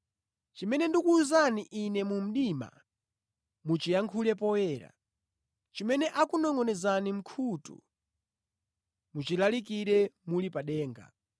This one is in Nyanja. Chimene ndikuwuzani Ine mu mdima, muchiyankhule poyera; chimene akunongʼonezani mʼkhutu, muchilalikire muli pa denga.